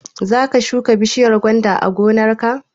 Za ka shuka bishiyar gwanda a gonar ka?